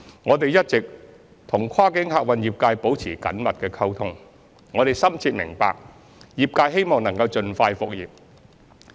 我們一直與跨境客運業界保持緊密溝通，深切明白業界希望能盡快復業。